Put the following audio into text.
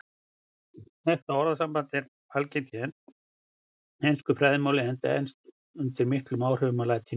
Þetta orðasamband er algengt í ensku fræðimáli enda er enska undir miklum áhrifum frá latínu.